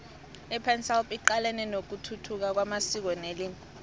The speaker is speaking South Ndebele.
ipansalp icalene nokuthuthuka kwamasiko nelimi